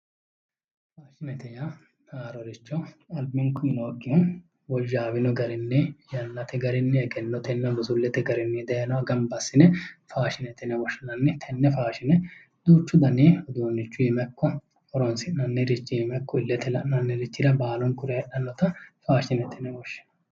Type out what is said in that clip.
Faashinete yaa haaroricho albinkunni nookkiha woyyaawino garinni yannate garinni egennotenna busulete garinni gamba assine faashinete yinne woshshinanni ,tenne faashine duuchu danni uduunichu iima ikko horonsi'nannirichi iima ikko iletenni la'nannirichira baalunkura heedhanotta faashinete yinne woshshinanni.